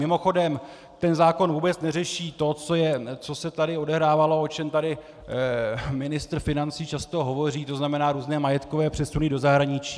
Mimochodem, ten zákon vůbec neřeší to, co se tady odehrávalo, o čem tady ministr financí často hovoří, to znamená různé majetkové přesuny do zahraničí.